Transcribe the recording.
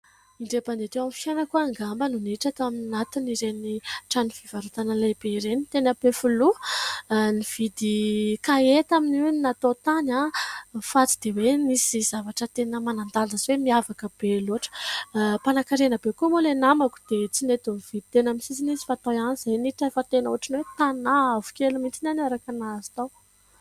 Indray mandeha teo amin'ny fiainako ahiny angamba nohitra teo amin'ny natina ireny trano fivarotanan'ilay beireny teny ampefiloha ny vidy kaheta amin io ny natao tany aho nyfatsy dia hoe nisy zavatra tena manandala zve mihavaka be loatra mpanankarenabe koa moa ilay namako dia tsy neto ni vidy tena aminy sisy ny sy fatao ianyizay nitra efa tena hoatriny hoe mpanaha avokaelomitinyhany o araka nahazo tao